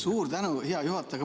Suur tänu, hea juhataja!